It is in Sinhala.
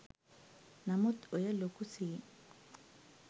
නමුත් ඔය ලොකු සීන්